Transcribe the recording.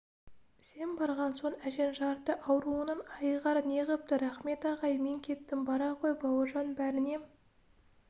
сен барған соң әжең жарты ауруынан айығар неғыпты рақмет ағай мен кеттім бара ғой бауыржан бәріне